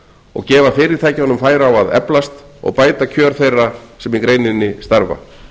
og gefa fyrirtækjunum færi á að eflast og bæta kjör þeirra sem í greininni starfa